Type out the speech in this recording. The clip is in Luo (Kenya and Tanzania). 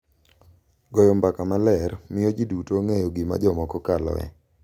Goyo mbaka maler miyo ji duto ong’eyo gima jomoko kaloe .